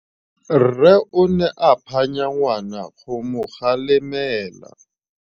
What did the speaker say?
Rre o ne a phanya ngwana go mo galemela.